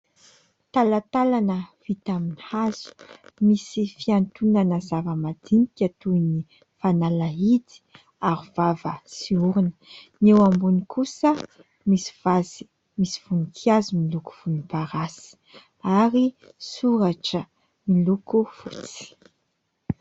Talantalana vita amin'ny hazo, misy fiantonana zava-madinika toy ny fanalahidy, arovava sy orona. Ny eo ambony kosa misy voninkazo miloko volomparasy, ary soratra miloko fotsy.